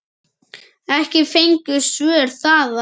Ekki fengust svör þaðan.